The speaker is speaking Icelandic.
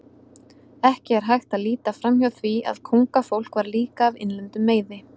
Ekki er hægt að líta framhjá því að kóngafólk var líka af innlendum meiði.